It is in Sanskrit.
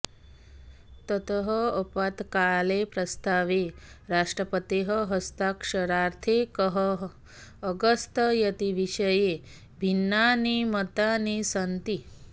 ततः आपत्कालप्रस्तावे राष्ट्रपतेः हस्ताक्षरार्थं कः अगच्छत् इति विषये भिन्नानि मतानि सन्ति